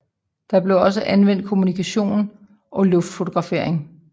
De blev også anvendt til kommunikation og luftfotografering